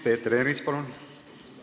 Peeter Ernits, palun!